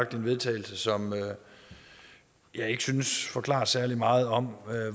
til vedtagelse som jeg ikke synes forklarer særlig meget om